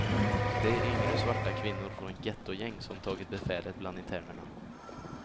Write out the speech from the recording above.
Det är yngre svarta kvinnor från gettogäng som tagit befälet bland internerna.